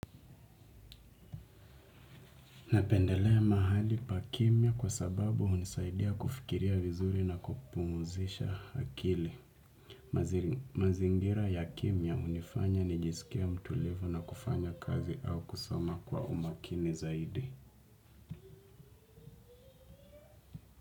Napendelea mahali pa kimya kwa sababu hunisaidia kufikiria vizuri na kupumuzisha akili. Mazingira ya kimya hunifanya nijisikie mtulivu na kufanya kazi au kusoma kwa umakini zaidi.